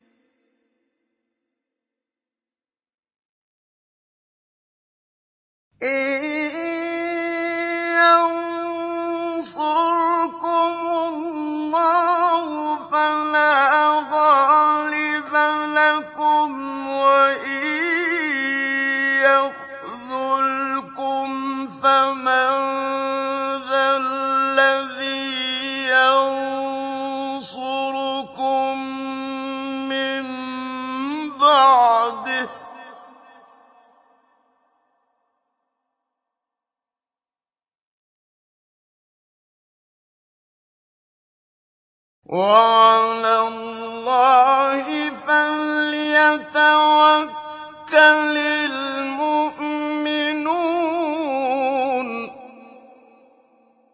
إِن يَنصُرْكُمُ اللَّهُ فَلَا غَالِبَ لَكُمْ ۖ وَإِن يَخْذُلْكُمْ فَمَن ذَا الَّذِي يَنصُرُكُم مِّن بَعْدِهِ ۗ وَعَلَى اللَّهِ فَلْيَتَوَكَّلِ الْمُؤْمِنُونَ